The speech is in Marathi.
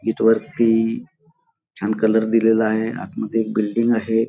इथ वरती छान कलर दिलेला आहे आत मध्ये बिल्डिंग आहे.